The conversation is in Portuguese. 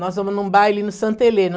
Nós vamos num baile no Santa Helena.